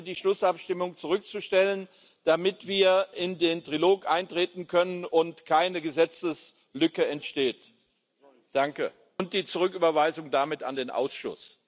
Ich bitte, die Schlussabstimmung zurückzustellen, damit wir in den Trilog eintreten können und keine Gesetzeslücke entsteht, und damit um die Zurücküberweisung an den Ausschuss.